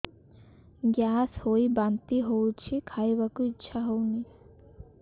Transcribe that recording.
gas ହୋଇ ବାନ୍ତି ହଉଛି ଖାଇବାକୁ ଇଚ୍ଛା ହଉନି